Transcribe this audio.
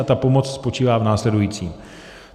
A ta pomoc spočívá v následujícím.